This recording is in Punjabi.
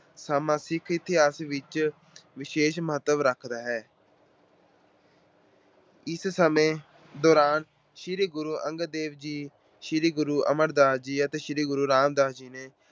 ਦਾ ਸਮਾਂ ਸਿੱਖ ਇਤਿਹਾਸ ਵਿਚ ਵਿਸ਼ੇਸ਼ ਮਹੱਤਵ ਰੱਖਦਾ ਹੈ। ਇਸੇ ਸਮੇਂ ਦੌਰਾਨ ਸ੍ਰੀ ਗੁਰੂ ਅੰਗਦ ਦੇਵ ਜੀ, ਸ੍ਰੀ ਗੁਰੂ ਅਮਰਦਾਸ ਜੀ ਤੇ ਸ੍ਰੀ ਗੁਰੂ ਰਾਮਦਾਸ ਜੀ ਨੇ